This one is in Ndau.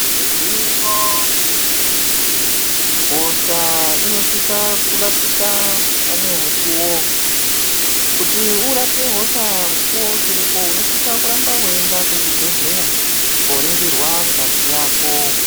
Igwinyiso remenemene hosha inosisa kurapika panemukuwo kuti urapwe hosha mukuwo uchiripo unosisa kurambe uchienda kuzvibhehlera kuringirwa ngazi yako.